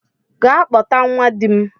Gaa kpọta nwa dim!